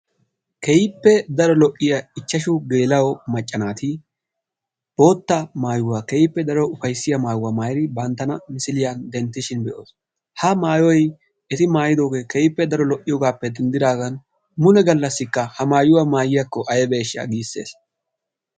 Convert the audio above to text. Keehippe daro lo"iya ichchashu macca naati bootta maayuwa keehippe daro ufayssiya. maayuwa maayidi banttana misiliyan denttishin be""os. Ha maayoyi eti maayidooge keehippe daro lo"iyogaappe denddidaagan mule gallassikka ha maayuwa maayiyakko aybeeshsha giisses.